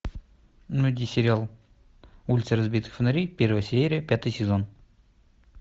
найди сериал улицы разбитых фонарей первая серия пятый сезон